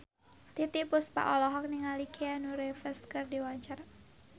Titiek Puspa olohok ningali Keanu Reeves keur diwawancara